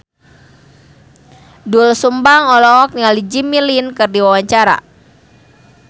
Doel Sumbang olohok ningali Jimmy Lin keur diwawancara